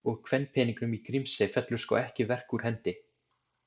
Og kvenpeningnum í Grímsey fellur sko ekki verk úr hendi.